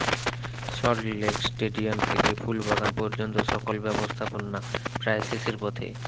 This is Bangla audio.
সল্টলেক স্টেডিয়াম থেকে ফুলবাগান পর্যন্ত সকল ব্যবস্থাপনা প্রায় শেষের পথে